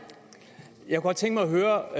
jeg kunne godt tænke mig at høre